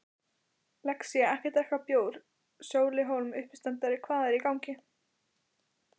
Lexía-ekki drekka bjór Sóli Hólm, uppistandari Hvað er í gangi?